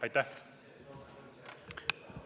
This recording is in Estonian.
Aitäh!